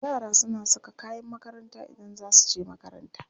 Yara suna saka kayan makaranta Idan za su je makaranta.